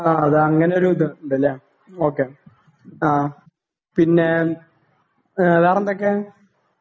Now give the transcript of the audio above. ആ അത് അങ്ങനെ ഒരു ഇത് ഉണ്ട് അല്ലേ ഓകെ ആ പിന്നെ വേറെ എന്തൊക്കെ